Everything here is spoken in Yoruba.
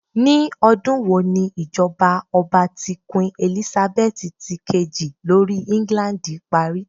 Ni ọdun wo ni ijọba ọba ti Queen Elizabeth ti keji lori England pari?